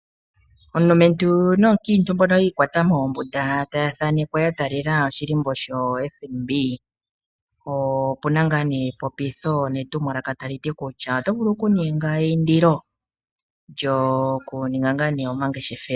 Omulumentu nomukiintu mbono yi ikwata moombunda taya thanekwa ya talela oshihako shoFNB. Opu na epopitho netumwalaka tali ti kutya oto vulu okuninga eindilo lyokuninga omangeshefelo.